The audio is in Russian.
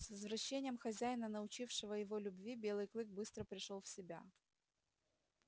с возвращением хозяина научившего его любви белый клык быстро пришёл в себя